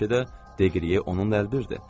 Bəlkə də Deqrie onunla əlbirdir.